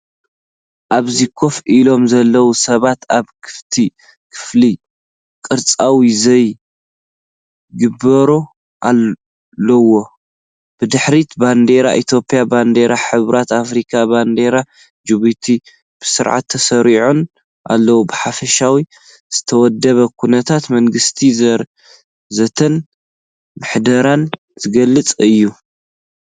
ኣብዚ ኮፍ ኢሎም ዘለዉ ሰባት ኣብ ክፉት ክፍሊ ቅርጻዊ ዘተ ይገብሩ ኣለዉ። ብድሕሪት ባንዴራ ኢትዮጵያ፣ ባንዴራ ሕብረት ኣፍሪቃ፣ ባንዴራ ጅቡቲ፣ ብስርዓት ተሰሪዐን ኣለዋ። ብሓፈሻ ዝተወደበ ኩነታት መንግስታዊ ዘተን ምሕደራን ዝገልጽ እዩ።